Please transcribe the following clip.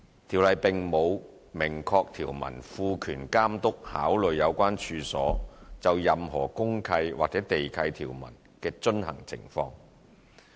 《條例》並無明確條文賦權監督考慮有關處所就任何公契或地契條文的遵行情況。